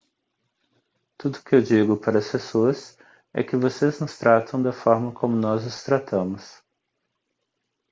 tudo o que eu digo para as pessoas é que vocês nos tratam da forma como nós os tratamos